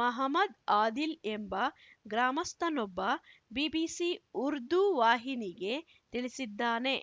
ಮಹಮ್ಮದ್‌ ಆದಿಲ್‌ ಎಂಬ ಗ್ರಾಮಸ್ಥನೊಬ್ಬ ಬಿಬಿಸಿ ಉರ್ದು ವಾಹಿನಿಗೆ ತಿಳಿಸಿದ್ದಾನೆ